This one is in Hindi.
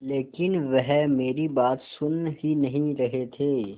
लेकिन वह मेरी बात सुन ही नहीं रहे थे